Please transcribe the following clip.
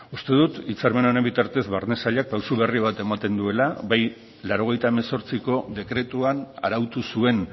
uste dut hitzarmen honen bitartez barne sailak pausu berri bat ematen duela bai laurogeita hemezortziko dekretuan arautu zuen